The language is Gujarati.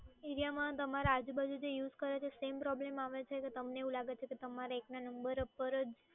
એરિયામાં તમારી આજુબાજુ યુઝ કરે છે same પ્રોબ્લેમ આવે છે કે તમને એવું લાગે છે કે તમારે એકનાં નંબર ઉપર જ.